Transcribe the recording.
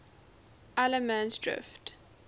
allemansdrift